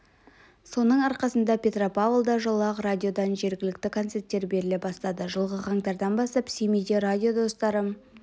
соның арқасында петропавлда жылы ақ радиодан жергілікті концерттер беріле бастады жылғы қаңтардан бастап семейде радио достары